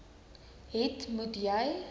het moet jy